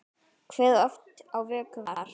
Kveðið oft á vöku var.